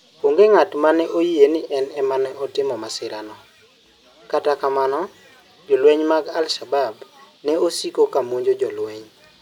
Onge ng'at ma ne oyie ni en ema ne otimo masirano, kata kamano, jolweny mag al-Shabab ne siko ka monjo jolweny.